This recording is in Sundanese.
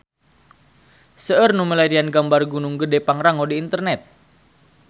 Seueur nu milarian gambar Gunung Gedhe Pangrango di internet